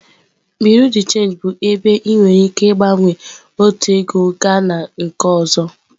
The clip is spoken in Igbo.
Bureau de change bụ ebe ị nwere ike ịgbanwe otu ego gaa na nke ọzọ.